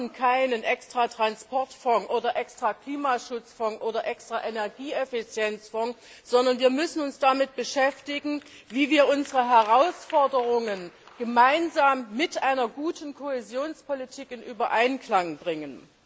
Wir brauchen keinen extra Transportfonds oder extra Klimaschutzfonds oder extra Energieeffizienzfonds, sondern wir müssen uns damit beschäftigen, wie wir unsere Herausforderungen mit einer guten Kohäsionspolitik in Einklang bringen.